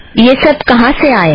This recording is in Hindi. यह सब कहाँ से आए